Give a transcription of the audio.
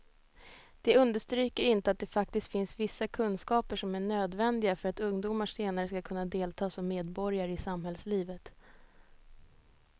De understryker inte att det faktiskt finns vissa kunskaper som är nödvändiga för att ungdomar senare ska kunna delta som medborgare i samhällslivet.